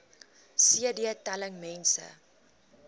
cd telling mense